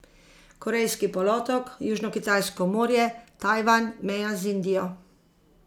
Korejski polotok, Južnokitajsko morje, Tajvan, meja z Indijo ...